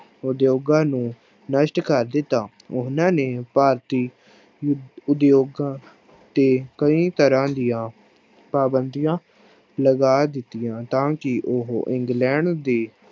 ਉਦਯੋਗਾਂ ਨੂੰ ਨਸ਼ਟ ਕਰ ਦਿੱਤਾ, ਉਹਨਾਂ ਨੇ ਭਾਰਤੀ ਉ ਉਦਯੋਗਾਂ ਤੇ ਕਈ ਤਰ੍ਹਾਂ ਦੀਆਂ ਪਾਬੰਦੀਆਂ ਲਗਾ ਦਿੱਤੀਆਂ, ਤਾਂ ਕਿ ਉਹ ਇੰਗਲੈਂਡ ਦੇ